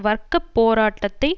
வர்க்க போராட்டத்தை